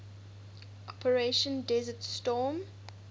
operation desert storm